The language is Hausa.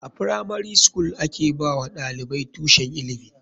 A firamari skul a ke ba wa ɗalibai tushen ilimi.